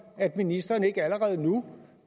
at ministeren ikke allerede nu